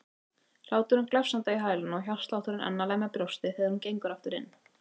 Hláturinn glefsandi í hælana og hjartslátturinn enn að lemja brjóstið þegar hún gengur aftur inn.